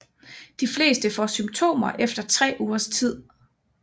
De fleste får symptomer efter tre ugers tid